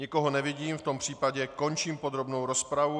Nikoho nevidím, v tom případě končím podrobnou rozpravu.